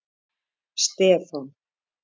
Stefán